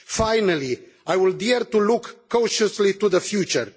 Finally, I will dare to look cautiously to the future.